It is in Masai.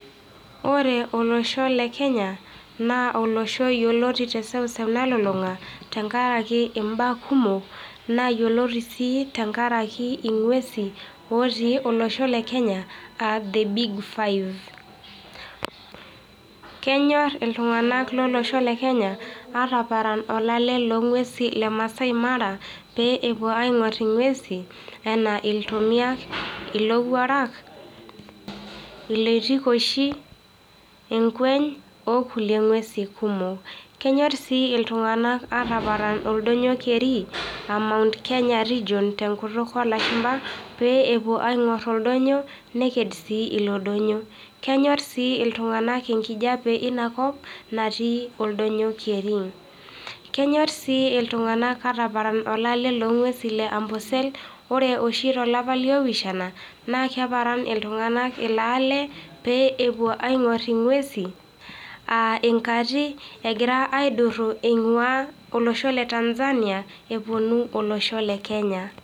Ore olosho lekenya, naa olosho yioloti te seuseu nalulung'a tenkaraki imbaa kumok, naa yioloti sii naa tenkaraki ing'uesi. Otii olosho le Kenya are the big five. Kenyor iltung'anak lolosho le Kenya ataparan olale loonguesin le Maasai Mara, pee epuo aingor inguesi anaa iltomiak, ilowuarak, iloitikoishi, enkueny o kuliek nguesin kumok. Kenyor sii iltunganak ataparan oldonyo keri aa Mount Kenya region tenkutuk oolashumpa, pee epuo ainor oldonyo neked sii ilodonyo. Kenyor sii iltung'anak enkijape einakop natii oldonyo keri. Kenyor sii iltung'anak ataparan olale loonguesin le Ambosel. Ore oshi tolapa le opishana, naa kepaaran oltung'anak ilo ale pee epuo aingor inguesi aa ing'ati egira aiduru eingua olosho le Tanzania elotu olosho le Kenya.